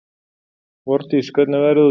Vordís, hvernig er veðrið úti?